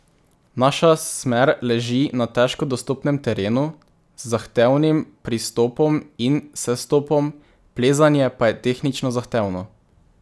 Naša smer leži na težko dostopnem terenu, z zahtevnim pristopom in sestopom, plezanje pa je tehnično zahtevno.